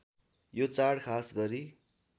यो चाड खासगरी